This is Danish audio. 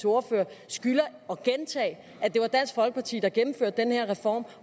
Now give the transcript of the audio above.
ordfører skylder at gentage at det var dansk folkeparti der gennemførte den her reform